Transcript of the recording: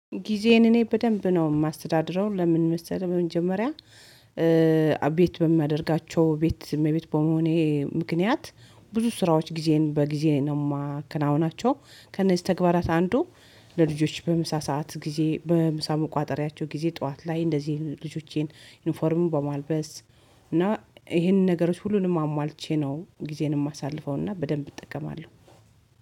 ጊዜን እኔ በደንብ ነው የማስተዳድረው ለምን መሰለህ በመጀመሪያ ቤት በማደርጋቸው ቤት እመቤት በመሆኔ ምክንያት ብዙ ስራዎች ጊዜን በጊዜ ነው የማከናውናቸው ከነዚህ ተግባራት አንዱ ለልጆች በምሳ ሰዓት ጊዜ በምሳ መቋጠሪያቸው ጊዜ ጠዋት ላይ እንደዚህ ልጆቼን ዩኒፎርሙን በማልበስ እና ይሄንን ነገሮች ሁሉንም አሟልቼ ነው ጊዜን የማሳልፈው እና በደንብ እጠቀማለሁ።